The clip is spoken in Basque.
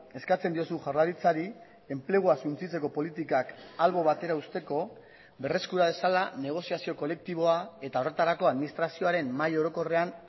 eskatzen diozu jaurlaritzari enplegua suntsitzeko politikak albo batera uzteko berreskura dezala negoziazio kolektiboa eta horretarako administrazioaren mahai orokorrean